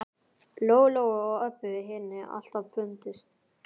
Lóu Lóu og Öbbu hinni alltaf fundist.